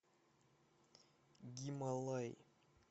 гималаи